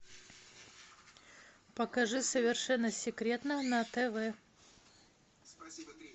покажи совершенно секретно на тв